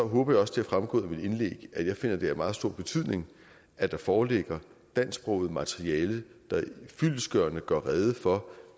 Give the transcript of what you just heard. håber jeg også det er fremgået af mit indlæg at jeg finder det af meget stor betydning at der foreligger dansksproget materiale der fyldestgørende gør rede for